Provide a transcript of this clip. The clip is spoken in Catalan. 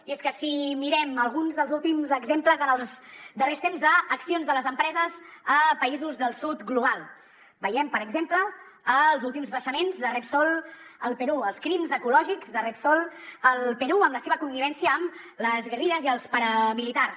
i és que si mirem alguns dels últims exemples en els darrers temps d’accions de les empreses a països del sud global veiem per exemple els últims vessaments de repsol al perú els crims ecològics de repsol al perú amb la seva connivència amb les guerrilles i els paramilitars